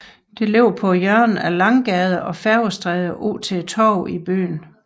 Det ligger på hjørnet af af Langgade og Færgestræde ud til Torvet i byen